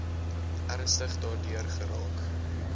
ernstig daardeur geraak